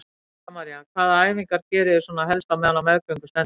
Helga María: Hvaða æfingar geriði svona helst á meðan á meðgöngunni stendur?